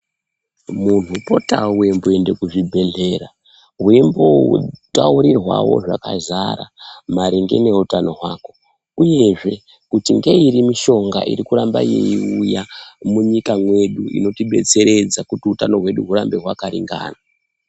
Muntu potawo weimboende kuzvibhedhleya weimbotaurirwawo zvakazara maringe neutano hwako uyezve kuti ngeiri mishonga iri kuramba yeiuya munyika mwedu inotidetseredza kuti utano hwedu hurambe hwakaringana.